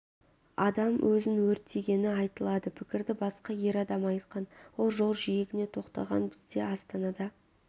адам өзін өртегені айтылады пікірді басқа ер адам айтқан ол жол жиегіне тоқтаған бізде астанада